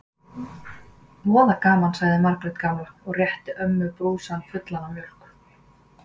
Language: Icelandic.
Voða gaman sagði Margrét gamla og rétti ömmu brúsann fullan af mjólk.